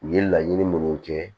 U ye laɲini minnu kɛ